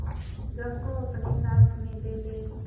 गम को अपने साथ में ले ले